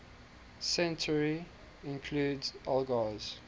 century include elgar's